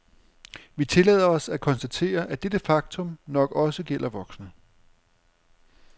Vi tillader os at konstatere, at dette faktum nok også gælder voksne.